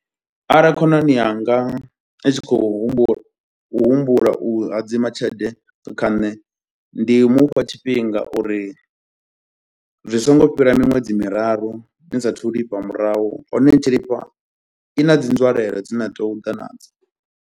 Arali khonani yanga i tshi khou humbu u humbula u hadzima tshelede kha nṋe, ndi mufha tshifhinga uri zwi songo fhira miṅwedzi miraru ni sa athu lifha murahu, hone ni tshi lifha i na dzi nzwalelo dzine na tea u ḓa nadzo.